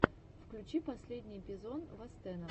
включи последний эпизод вастена